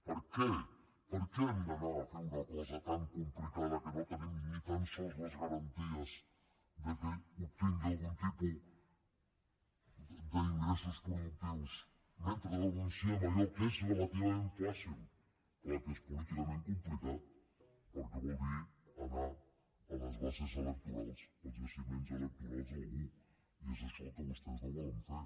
per què per què hem d’anar a fer una cosa tan complicada que no tenim ni tan sols les garanties que obtingui algun tipus d’ingressos productius mentre renunciem a allò que és relativament fàcil clar que és políticament complicat perquè vol dir anar a les bases electorals als jaciments electorals d’algú i és això el que vostès no volen fer